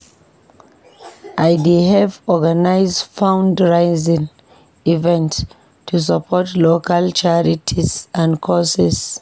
I dey help organize fundraising events to support local charities and causes.